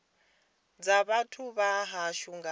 dza vhathu vha hashu nga